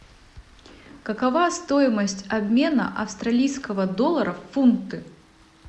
какова стоимость обмена австралийского доллара в фунты